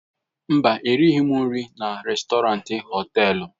Mba, erighị m nri na rèstọrantị họtelu.